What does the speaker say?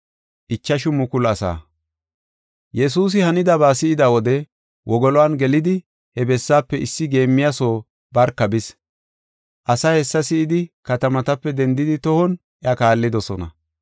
Yesuusi hanidaba si7ida wode wogolon gelidi he bessaafe issi geemmiya soo barka bis. Asay hessa si7idi katamatape dendidi tohon iya kaallidosona.